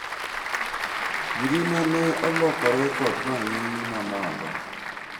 ngima na olokore kod ranying' mamalo